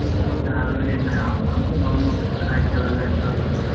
ಮತ್ತೆ ಆಮೇಲಿನ್ನ ಆಮ್ನಾವು bomb ಪಟಾಕಿ ಅವೆಲ್ಲ ಇರ್ತವಲ್ಲ.